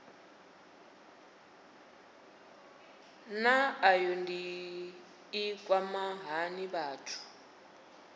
naa ayodini i kwama hani vhathu